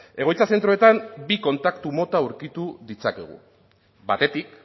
egoitza zentroetan bi kontaktu mota aurkitu ditzakegu batetik